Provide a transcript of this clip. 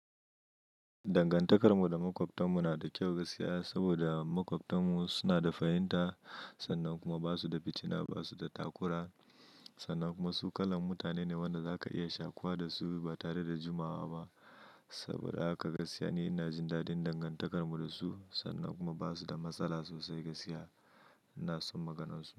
Dangantakar mu da makwabtan mu na da kyau gaskiya, saboda makwabtan mu suna da fahinta sannan kuma ba su da fitina, ba su da takura sannan kuma su kalan mutane ne wanda za ka iya shakuwa da su ba tare da jimawa ba. Saboda haka gaskiya ne ina jin dadin dangantakar mu da su sannan kuma ba su da matsala sosai gaskiya. Ina son maganar su.